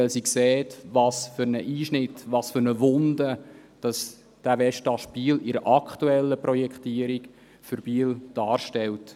Sie sieht, was für einen Einschnitt, was für eine Wunde dieser Westast Biel in der aktuellen Projektierung für die Stadt Biel darstellt.